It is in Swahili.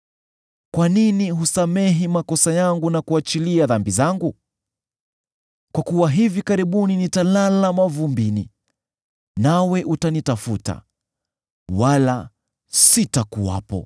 Kwa nini husamehi makosa yangu na kuachilia dhambi zangu? Kwa kuwa hivi karibuni nitalala mavumbini; nawe utanitafuta, wala sitakuwepo.”